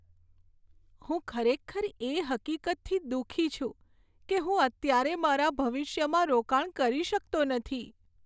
હું ખરેખર એ હકીકતથી દુઃખી છું કે હું અત્યારે મારા ભવિષ્યમાં રોકાણ કરી શકતો નથી.